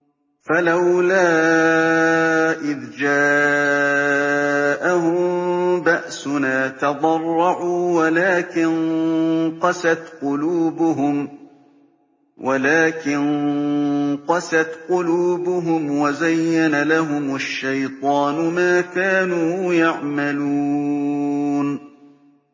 فَلَوْلَا إِذْ جَاءَهُم بَأْسُنَا تَضَرَّعُوا وَلَٰكِن قَسَتْ قُلُوبُهُمْ وَزَيَّنَ لَهُمُ الشَّيْطَانُ مَا كَانُوا يَعْمَلُونَ